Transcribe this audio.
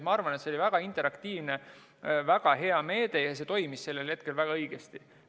Ma arvan, et see oli väga interaktiivne, väga hea meede ja see toimis sellel ajal väga õigesti.